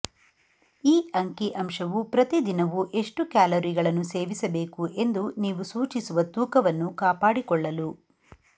ಈ ಅಂಕಿ ಅಂಶವು ಪ್ರತಿ ದಿನವೂ ಎಷ್ಟು ಕ್ಯಾಲೋರಿಗಳನ್ನು ಸೇವಿಸಬೇಕು ಎಂದು ನೀವು ಸೂಚಿಸುವ ತೂಕವನ್ನು ಕಾಪಾಡಿಕೊಳ್ಳಲು